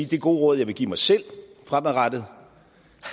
det gode råd jeg vil give mig selv fremadrettet